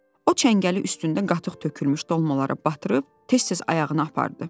O çəngəli üstündə qatıq tökülmüş dolmaları batırıb tez-tez ayağına apardı.